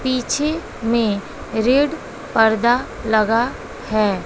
पीछे में रेड पर्दा लगा है।